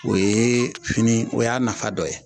O yee fini o y'a nafa dɔ ye